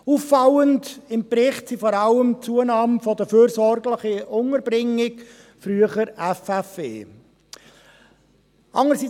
Auffallend im Bericht ist vor allem die Zunahme der fürsorgerischen Unterbringungen (FU), früher fürsorgerische Freiheitsentziehungen (FFE).